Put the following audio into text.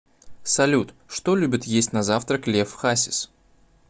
салют что любит есть на завтрак лев хасис